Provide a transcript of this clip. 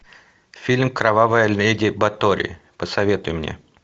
фильм кровавая леди батори посоветуй мне